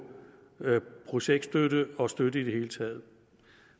projektstøtte og støtte i det hele taget